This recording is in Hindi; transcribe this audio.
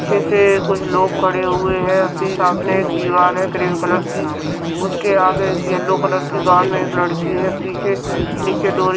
पीछे से कुछ लोग खड़े हुए हैं सामने एक दीवार है क्रीम कलर की उसके आगे एक येलो कलर की गाउन में एक लड़की है पीछे नीचे डोली --